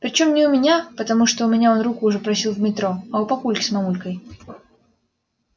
причём не у меня потому что у меня он руку уже просил в метро а у папульки с мамулькой